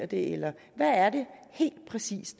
det eller hvad er det helt præcis